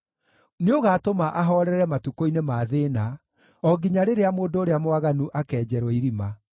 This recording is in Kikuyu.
nĩũgaatũma ahoorere matukũ-inĩ ma thĩĩna, o nginya rĩrĩa mũndũ ũrĩa mwaganu akenjerwo irima.